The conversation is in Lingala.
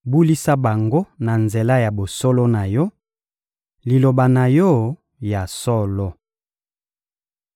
Bulisa bango na nzela ya bosolo na Yo, Liloba na Yo ya solo.